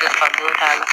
Nafa dɔn t'a la